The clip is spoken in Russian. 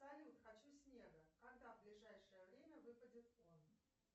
салют хочу снега когда в ближайшее время выпадет он